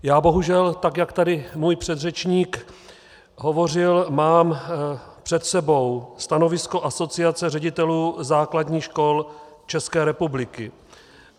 Já bohužel, tak jak tady můj předřečník hovořil, mám před sebou stanovisko Asociace ředitelů základních škol České republiky.